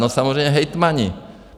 No, samozřejmě hejtmani.